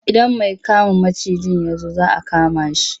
Idan mai kama macijin ya zo za a kama shi.